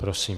Prosím.